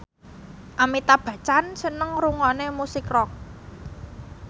Amitabh Bachchan seneng ngrungokne musik rock